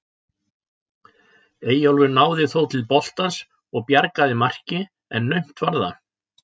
Eyjólfur náði þó til boltans og bjargaði marki en naumt var það.